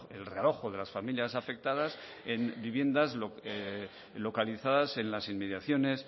el realojo de las familias afectadas en viviendas localizadas en las inmediaciones